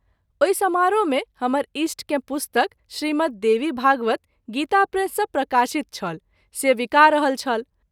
ओहि समारोह मे हमर ईष्ट के पुस्तक ‘श्रीमद्देवीभागवत’ गीता प्रेस सँ प्रकाशित छल से विका रहल छल।